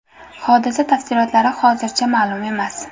Hodisa tafsilotlari hozircha ma’lum emas.